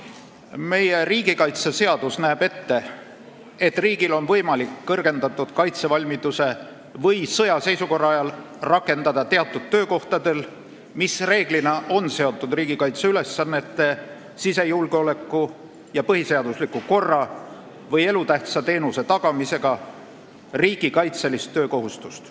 Meie riigikaitseseadus näeb ette, et riigil on võimalik kõrgendatud kaitsevalmiduse või sõjaseisukorra ajal rakendada teatud töökohtadel, mis reeglina on seotud riigikaitseülesannete, sisejulgeoleku ja põhiseadusliku korra või elutähtsa teenuse tagamisega, riigikaitselist töökohustust.